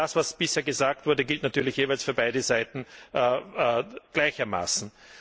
All das, was bisher gesagt wurde, gilt natürlich jeweils für beide Seiten gleichermaßen.